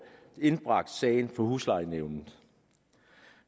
indbragt sagen for huslejenævnet